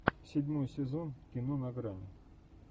седьмой сезон кино на грани